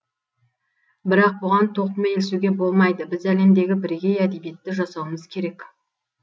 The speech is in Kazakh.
бірақ бұған тоқмейілсуге болмайды біз әлемдегі бірегей әдебиетті жасауымыз керек